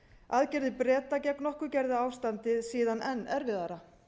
aðgerðir breta gegn okkur gerðu ástandið síðan enn erfiðara